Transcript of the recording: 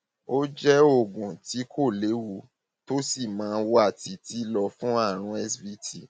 ó jẹ oògùn tí kò léwu tó sì máa wà títí lọ fún àrùn svt